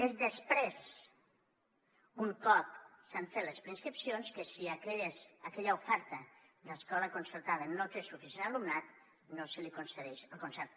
és després un cop s’han fet les preinscripcions que si aquella oferta de l’escola concertada no té suficient alumnat no se li concedeix el concert